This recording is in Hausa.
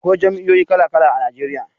Akwai jam'iyoyi kala-kala a Najeriya.